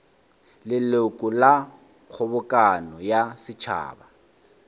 leloko la kgobokano ya setšhaba